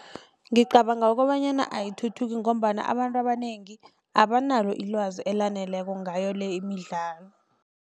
Ngicabanga kobanyana ayithuthuki ngombana abantu abanengi abanalo ilwazi elaneleko ngayo le imidlalo.